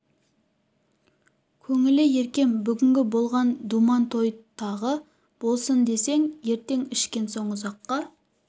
көңілі еркем бүгінгі болған думан-той тағы да болсын ертең ішкен соң ұзаққа